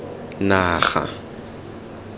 naga